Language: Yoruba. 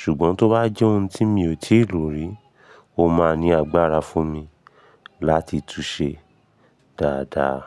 Ṣùgbọ́n tó bá jẹ́ ohun tí mi ò tíì lò rí, ó máa ní agbára fún mi láti tú ṣẹ dáadáa.